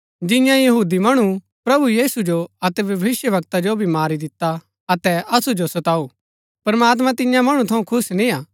जिन्यै यहूदी मणु प्रभु यीशु जो अतै भविष्‍यवक्ता जो भी मारी दिता अतै असु जो सताऊ प्रमात्मां तियां मणु थऊँ खुश निआं अतै सो सब मणु रा विरोध करदै हिन